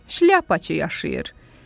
Şliapaçı yaşayır.